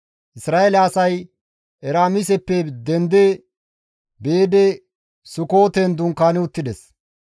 Isra7eele asay Eraamiseppe dendi biidi Sukooten dunkaani uttides.